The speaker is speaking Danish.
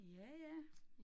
Ja ja